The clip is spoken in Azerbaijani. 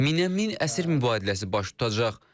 Minə min əsir mübadiləsi baş tutacaq.